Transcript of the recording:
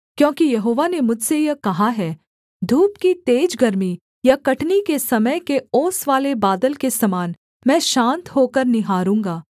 क्योंकि यहोवा ने मुझसे यह कहा है धूप की तेज गर्मी या कटनी के समय के ओसवाले बादल के समान मैं शान्त होकर निहारूँगा